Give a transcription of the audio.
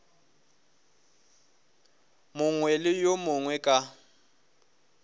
mongwe le yo mongwe ka